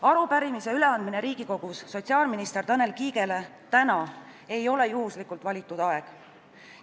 Arupärimise üleandmine Riigikogus sotsiaalminister Tanel Kiigele täna ei ole juhuslikult valitud aeg.